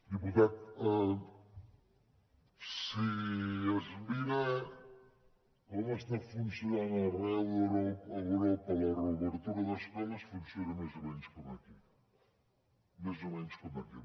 diputat si es mira com està funcionant arreu d’europa la reobertura d’escoles funciona més o menys com aquí més o menys com aquí